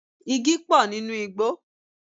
Igi pọ̀ nínú igbò